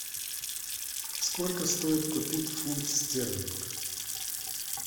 сколько стоит купить фунт стерлинг